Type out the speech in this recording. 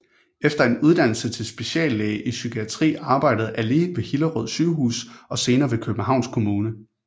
Efter en uddannelse til speciallæge i psykiatri arbejdede Ali ved Hillerød Sygehus og senere ved Københavns Kommune